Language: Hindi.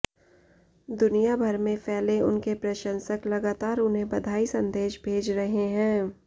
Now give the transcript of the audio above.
दुनिया भर में फैले उनके प्रशंसक लगातार उन्हें बधाई संदेश भेज रहे हैं